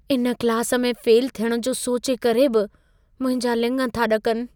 इन क्लास में फ़ेल थियणु जो सोचे करे बि मुंहिंजा लिङ था ॾकनि।